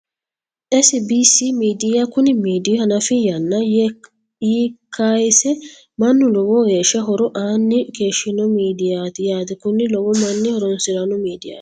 SBC midiya Kuni midii hanafi yanna Yi kaayeese manna lowo geeshshi horo aanni keeshino miidiyaati yaate konnira lowo manni horoonsirano midiyaati